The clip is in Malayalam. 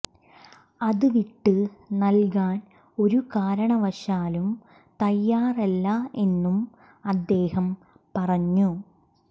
അത് വിട്ട് നൽകാൻ ഒരു കാരണവശാലും തയ്യാറല്ല എന്നും അദ്ദേഹം പറഞ്ഞു